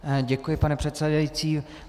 Děkuji, pane předsedající.